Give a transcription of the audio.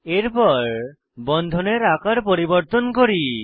এরপর বন্ধনের আকার পরিবর্তন করি